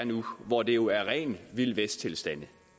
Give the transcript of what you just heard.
nu hvor det jo er rene vildvesttilstande